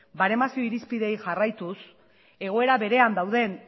baremazio irizpideei jarraituz egoera berean dauden